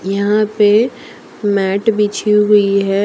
यहां पे मेट बिछी हुई है ।